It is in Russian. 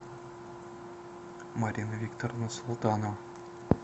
марина викторовна султанова